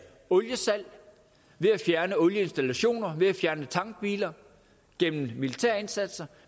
oliesalg ved at fjerne olieinstallationer ved at fjerne tankbiler gennem militærindsatser